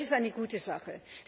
Das ist eine gute Sache.